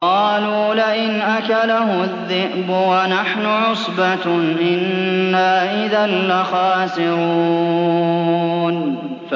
قَالُوا لَئِنْ أَكَلَهُ الذِّئْبُ وَنَحْنُ عُصْبَةٌ إِنَّا إِذًا لَّخَاسِرُونَ